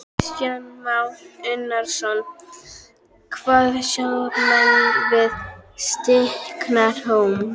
Kristján Már Unnarsson: Hvað sjá menn við Stykkishólm?